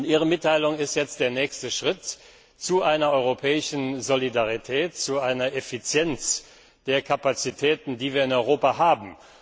Ihre Mitteilung ist jetzt der nächste Schritt zu einer europäischen Solidarität, zu einer Effizienz der Kapazitäten, die wir in Europa haben.